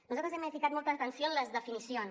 nosaltres hem ficat molta atenció en les definicions